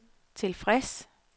tilfreds